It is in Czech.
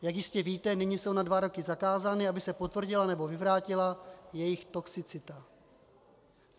Jak jistě víte, nyní jsou na dva roky zakázány, aby se potvrdila nebo vyvrátila jejich toxicita.